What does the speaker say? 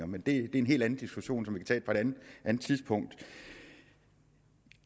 men det er en helt anden diskussion som vi kan tage på et andet tidspunkt